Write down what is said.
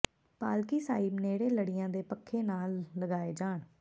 ਪਾਲਕੀ ਸਾਹਿਬ ਨੇੜੇ ਲੜੀਆਂ ਤੇ ਪੱਖੇ ਨਾ ਲਗਾਏ ਜਾਣ